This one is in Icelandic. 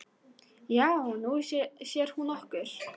"""Já, Nú sér hún okkur"""